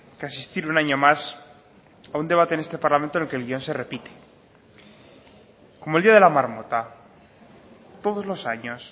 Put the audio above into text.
que asistir un año más a un debate en este parlamento en el que el guion se repite como el día de la marmota todos los años